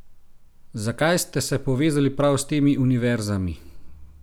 Zakaj ste se povezali prav s temi univerzami?